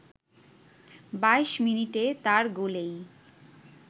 ২২ মিনিটে তার গোলেই